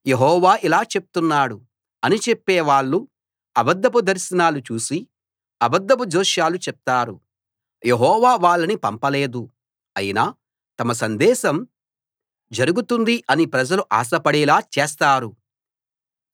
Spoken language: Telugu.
యెహోవా ఇలా చెప్తున్నాడు అని చెప్పే వాళ్ళు అబద్ధపు దర్శనాలు చూసి అబద్ధపు జోస్యాలు చెప్తారు యెహోవా వాళ్ళని పంపలేదు అయినా తమ సందేశం జరుగుతుంది అని ప్రజలు ఆశ పడేలా చేస్తారు